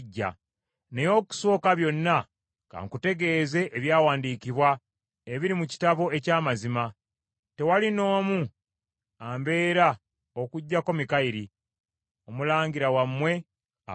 Naye okusooka byonna, ka nkutegeeze ebyawandiikibwa ebiri mu kitabo eky’amazima: Tewali n’omu ambeera okuggyako Mikayiri, omulangira wammwe abakuuma.